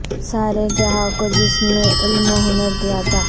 سارے جہاں کو جس نے علم و ہنر دیا تھا